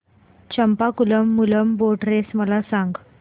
Champakulam Moolam boat race मला सांग